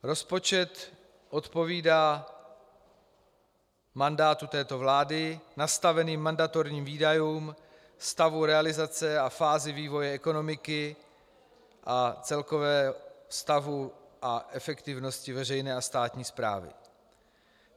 Rozpočet odpovídá mandátu této vlády, nastaveným mandatorním výdajům, stavu realizace a fázi vývoje ekonomiky a celkovému stavu a efektivnosti veřejné a státní správy.